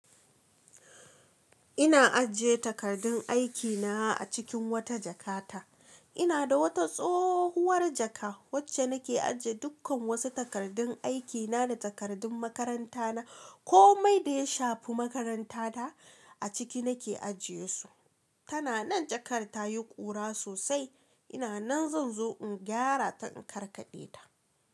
Ina ajiye takardun aikina a cikin wata jakata. Ina da wata tsohuwar jaka wacce nake ajiye dukkan wasu takardun aikina da takardun makarantana. Komai da ya shafi makarantata a ciki nake ajiyesu. Tana nan jakar ta yi ƙura sosai. Ina nan zan zo in gyara ta in karkaɗe ta.